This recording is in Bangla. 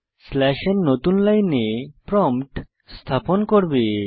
স্লাশ n নতুন লাইনে প্রম্পট স্থাপন করবে